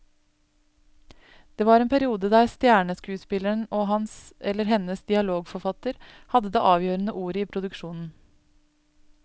Det var en periode der stjerneskuespilleren og hans eller hennes dialogforfatter hadde det avgjørende ordet i produksjonen.